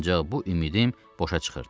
Ancaq bu ümidim boşa çıxırdı.